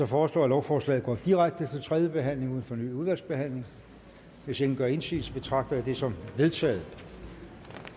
foreslå at lovforslaget går direkte til tredje behandling uden fornyet udvalgsbehandling hvis ingen gør indsigelse betragter jeg det som vedtaget